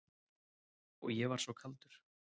Og ég var svo kaldur.